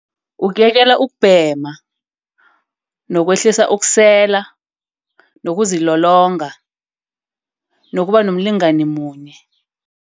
Ukuyekela ukubhema nokwehlisa ukusela. Nokuzilolonga nokuba nomlingani munye.